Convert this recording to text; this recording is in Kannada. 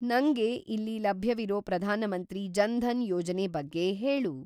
ನಂಗೆ ಇಲ್ಲಿ ಲಭ್ಯವಿರೋ ಪ್ರಧಾನಮಂತ್ರಿ ಜನ್‌ಧನ್‌ ಯೋಜನೆ ಬಗ್ಗೆ ಹೇಳು!